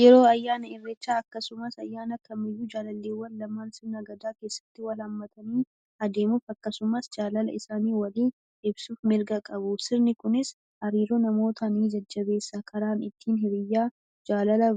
Yeroo ayyaan irreechaa akkasumas ayyaana kamiiyyuu jaalalleewwan lamaan sirna gadaa keessatti wal hammatanii adeemuuf akkasumas jaalala isaanii walii ibsuuf mirga qabu. Sirni kunis hariiroo namootaa ni jajjabeessa. Karaan ittiin hiriyaa jaalalaa